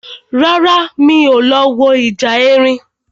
Rárá, mi ò lọ wo ìjà erin